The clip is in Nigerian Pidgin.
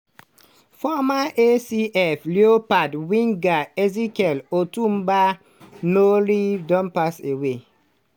former acf leopards winger ezekiel otuoba "rooney" don pass away.